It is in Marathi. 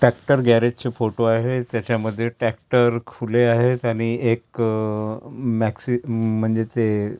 ट्रॅक्टर गॅरेज चे फोटो आहे त्याच्यामध्ये ट्रॅक्टर खुले आहेत आणि एक मॅक्सी म्हणजे ते--